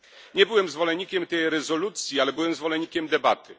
Nie byłem zwolennikiem tej rezolucji, ale byłem zwolennikiem debaty.